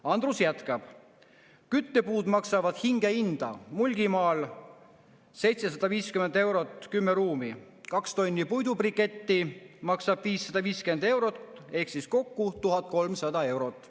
Andrus jätkab: "Küttepuud maksavad hingehinda, Mulgimaal 750 eurot 10 ruumi, kaks tonni puidubriketti maksab 550 eurot ehk kokku 1300 eurot.